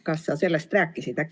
Kas sa sellest rääkisid?